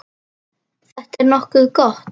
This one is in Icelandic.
Þetta er nokkuð gott.